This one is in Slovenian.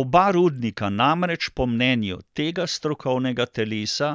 Oba rudnika namreč po mnenju tega strokovnega telesa